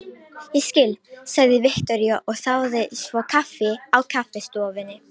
Ég skil, sagði Viktoría og þáði svo kaffi á kaffistofunni.